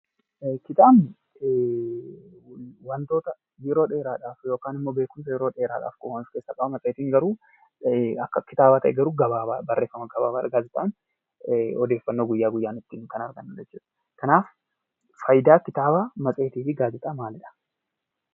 Kitaaba Kitaabni waantota yeroo dheeraaf yookaan immoo beekumsa yeroo dheeraaf oolan keessaa ta'ee garuu akka kitaaba ta'e, barreeffama gabaabaa argatta. Odeeffannoo guyyaa guyyaan kan ittiin argannu jechuudha. Kanaaf fayidaa kitaabaa fi matseetii fi gaazeexaa maalidha.